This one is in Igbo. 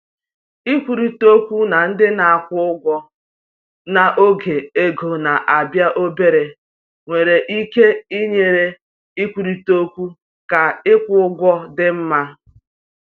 Ikwurịta okwu na ndị na-akwụ ụgwọ n’oge ego na-abịa obere nwere ike inyere ịkwurịta okwu ka ịkwụ ụgwọ dị mma.